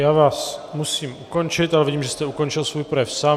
Já vás musím ukončit, ale vidím, že jste ukončil svůj projev sám.